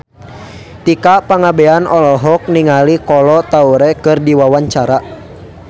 Tika Pangabean olohok ningali Kolo Taure keur diwawancara